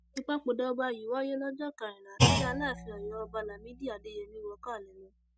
ìpapòdà ọba yìí wáyé lọjọ kẹrìnlá tí aláàfin ọyọ ọba lámìdí adéyẹmi wọ káà ilé lọ